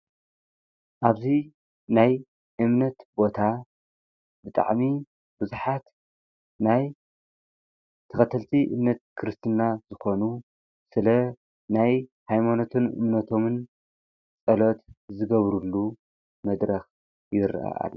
ኣብዚ ናይ እምነት ቦታ ብጣዕሚ ብዙሓት ናይ ተኸተልቲ እምነት ክርስትና ዝኾኑ ስለ ናይ ሃይማኖት እምነቶምን ፆሎት ዝገብሩሉ መድረኽ ይረአ ኣሎ፡፡